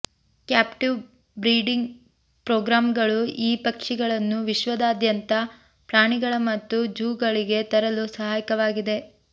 captive breeding ಪ್ರೋಗ್ರಾಂಗಳು ಈ ಪಕ್ಷಿಗಳನ್ನು ವಿಶ್ವದಾದ್ಯಂತದ ಪ್ರಾಣಿಗಳ ಮತ್ತು ಝೂಗಳಿಗೆ ತರಲು ಸಹಾಯಕವಾಗಿದೆ